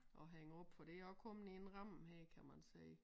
Og hænge op for det også kommet i en ramme her kan man se